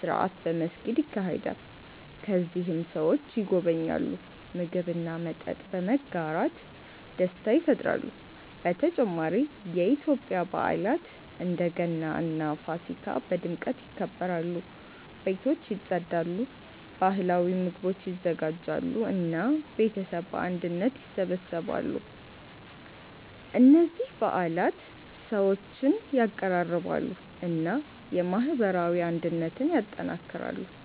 ስርዓት በመስጊድ ይካሄዳል። ከዚያም ሰዎች ይጎበኛሉ፣ ምግብ እና መጠጥ በመጋራት ደስታ ይፈጥራሉ። በተጨማሪ የኢትዮጵያ በዓላት እንደ ገና እና ፋሲካ በድምቀት ይከበራሉ። ቤቶች ይጸዳሉ፣ ባህላዊ ምግቦች ይዘጋጃሉ እና ቤተሰብ በአንድነት ይሰበሰባሉ። እነዚህ በዓላት ሰዎችን ያቀራርባሉ እና የማህበራዊ አንድነትን ያጠናክራሉ።